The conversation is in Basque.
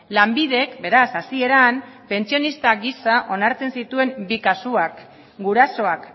lanbidek beraz hasieran pentsionista gisa onartzen zituen bi kasuak gurasoak